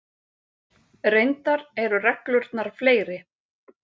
Reyndar eru reglurnar fleiri.